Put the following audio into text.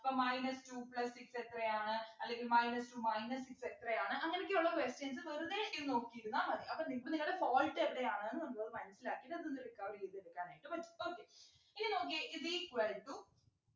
അപ്പൊ minus two plus six എത്രയാണ് അല്ലെങ്കിൽ minus two minus six എത്രയാണ് അങ്ങനെയൊക്കെയുള്ള questions വെറുതെ ഇ നോക്കിയിരുന്ന മതി അപ്പൊ നിങ്ങക്ക് നിങ്ങടെ fault എവിടെയാണ് നമുക്കത് മനസിലാക്കി അതൊന്ന് recover ചെയ്തെടുക്കാനായിട്ട് പറ്റും okay ഇനി നോക്കിയേ is equal to